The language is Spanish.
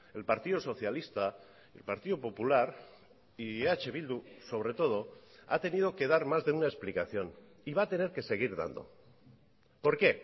el partido socialista el partido popular y eh bildu sobre todo ha tenido que dar más de una explicación y va a tener que seguir dando por qué